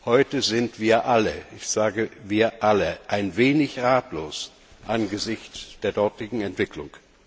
Heute sind wir alle ich sage, wir alle ein wenig ratlos angesichts der dortigen Entwicklung.